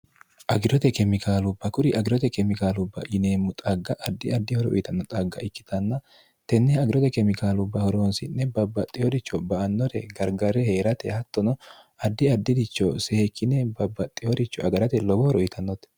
agirote kemikaalu bakuri agirote kemikaalu ba'yineemmu xagga addi addi horo uyitanno xagga ikkitanna tenne agirote kemikaalu bahoroonsi'ne babbaxxihoricho ba annore gargare hee'rate hattono addi addiricho see kine babbaxxihoricho agarate lobohoro uyitannote